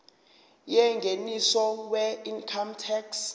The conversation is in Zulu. yengeniso weincome tax